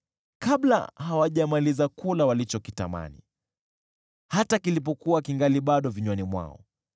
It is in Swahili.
Kabla hawajamaliza kula walichokitamani, hata kilipokuwa kingali bado vinywani mwao,